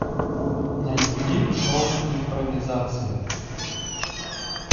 найди шоу импровизация